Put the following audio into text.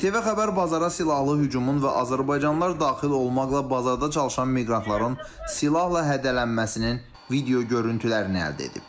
İTV xəbər bazara silahlı hücumun və azərbaycanlılar daxil olmaqla bazarda çalışan miqrantların silahla hədələnməsinin video görüntülərini əldə edib.